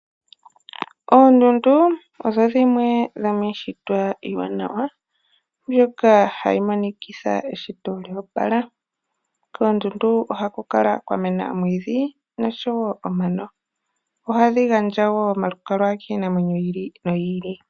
Oondundu odho dhimwe dhomiishitwa iiwanawa mbyoka hayi monikitha eshito lyoopala. Koondundu ohaku kala kwamena oomwiidhi nosho wo omano. Ohadhi gandja omalukalwa kiinamwenyo yi ili noyi ili.